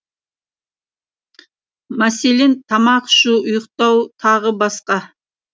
мәселен тамақ ішу ұйықтау тағы басқа